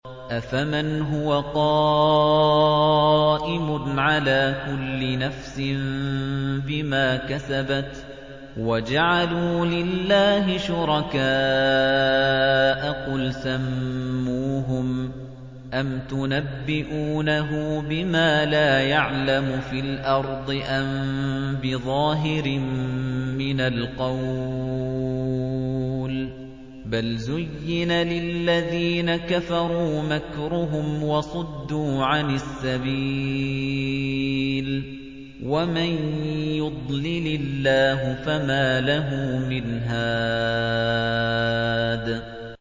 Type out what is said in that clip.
أَفَمَنْ هُوَ قَائِمٌ عَلَىٰ كُلِّ نَفْسٍ بِمَا كَسَبَتْ ۗ وَجَعَلُوا لِلَّهِ شُرَكَاءَ قُلْ سَمُّوهُمْ ۚ أَمْ تُنَبِّئُونَهُ بِمَا لَا يَعْلَمُ فِي الْأَرْضِ أَم بِظَاهِرٍ مِّنَ الْقَوْلِ ۗ بَلْ زُيِّنَ لِلَّذِينَ كَفَرُوا مَكْرُهُمْ وَصُدُّوا عَنِ السَّبِيلِ ۗ وَمَن يُضْلِلِ اللَّهُ فَمَا لَهُ مِنْ هَادٍ